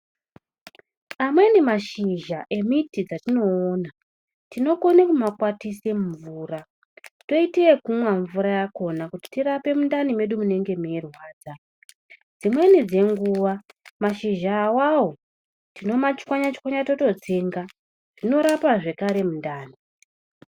Amweni mashizha emiti dzatinoona tinokone kumakwatise mumvura, toite yekumwa mvura yakona tirape mundani mwedu munenge meirwadza. Dzimweni dzenguva mashizha avavo tinomatswanya-tswanya tototsenga zvinorapa zvakare mundani.